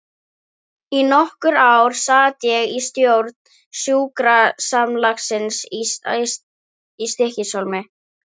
Í nokkur ár sat ég í stjórn sjúkrasamlagsins í Stykkishólmi.